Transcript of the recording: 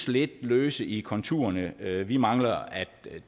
lidt løse i konturerne vi vi mangler at